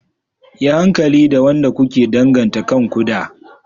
Yi hankali da wanda kuke danganta kanku da.